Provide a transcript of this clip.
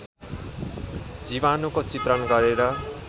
जीवाणुको चित्रण गरेर